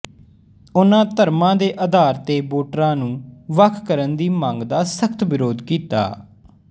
ਉਨ੍ਹਾਂ ਧਰਮ ਦੇ ਆਧਾਰ ਤੇ ਵੋਟਰਾਂ ਨੂੰ ਵੱਖ ਕਰਨ ਦੀ ਮੰਗ ਦਾ ਸਖ਼ਤ ਵਿਰੋਧ ਕੀਤਾ